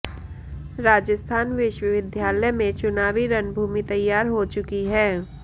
राजस्थान विश्वविद्यालय में चुनावी रणभूमि तैयार हो चुकी है